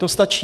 To stačí.